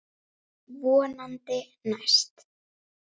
Vonandi næst.